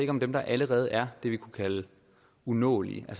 om dem der allerede er det vi kunne kalde umulige at